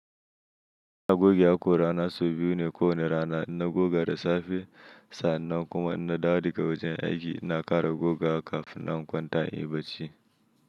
INa goge haƙora na sau biyu ne ko wane rana, in na goga da safe sannan kuma in na dawo daga wajen aiki na ƙara gogawa kafinnan in kwanta in yi bacci.